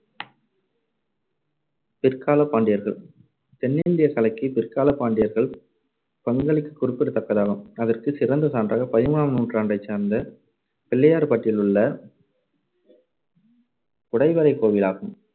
பிற்காலப் பாண்டியர்கள் தென்னிந்தியக் கலைக்கு பிற்காலப் பாண்டியர்கள் பங்களிப்பு குறிப்பிடத்தகுந்ததாகும். அதற்குச் சிறந்த சான்றாக பதிமூணாம் நூற்றாண்டைச் சார்ந்த, பிள்ளையார்பட்டியிலுள்ள குடைவரைக் கோவிலாகும்.